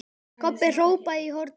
Kobbi hrópaði í hornið.